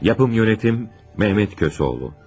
Yapım yönetim: Mehmet Kösoğlu.